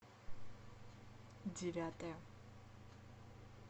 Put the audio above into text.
девятая